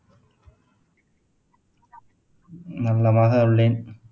நலமாக உள்ளேன்